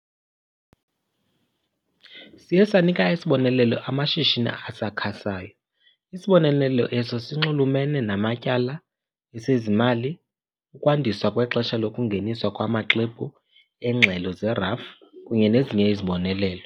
Siye sanika isibonelelo amashishini asakhasayo, isibonelelo eso sinxulumene namatyala, esezimali, ukwandiswa kwexesha lokungeniswa kwamaxwebhu eengxelo zerafu kunye nezinye izibonelelo.